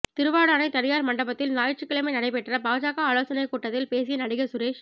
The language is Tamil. திருவாடானை தனியாா் மண்டபத்தில் ஞாயிற்றுக்கிழமை நடைபெற்ற பாஜக ஆலோசனைக் கூட்டத்தில் பேசிய நடிகா் சுரேஷ்